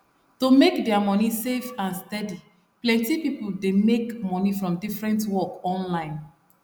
to make their money safe and steady plenty people dey make money from different work online